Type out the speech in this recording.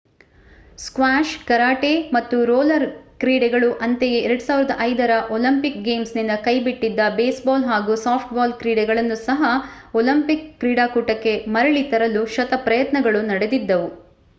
squash karate ಮತ್ತು roller ಕ್ರೀಡೆಗಳು ಅಂತೆಯೇ 2005 ರ ಒಲಿಂಪಿಕ್ ಗೇಮ್ಸ್‌ನಿಂದ ಕೈಬಿಟ್ಟಿದ್ದ ಬೇಸ್‌ಬಾಲ್ ಹಾಗೂ ಸಾಫ್ಟ್‌ಬಾಲ್ ಕ್ರೀಡೆಗಳನ್ನು ಸಹ ಒಲಿಂಪಿಕ್ ಕ್ರೀಡಾಕೂಟಕ್ಕೆ ಮರಳಿ ತರಲು ಶತಪ್ರಯತ್ನಗಳು ನಡೆದಿದ್ದವು